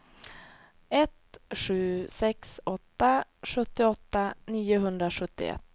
ett sju sex åtta sjuttioåtta niohundrasjuttioett